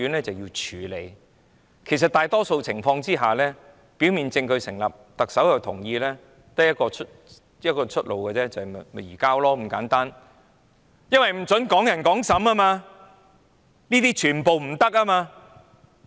關於逃犯的問題，在大多數情況下，如果表面證據成立，特首亦同意，便只有一個出路，就是移交，因為不准"港人港審"，這是不准進行的。